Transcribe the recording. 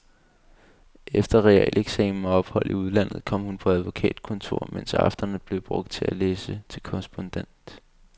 Efter realeksamen og ophold i udlandet kom hun på advokatkontor, mens aftenerne blev brugt til at læse til korrespondent.